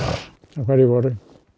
á hverju vori